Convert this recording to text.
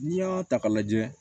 N'i y'a ta k'a lajɛ